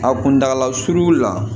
A kuntala suru la